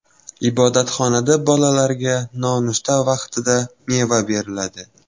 Ibodatxonada bolalarga nonushta vaqtida meva beriladi.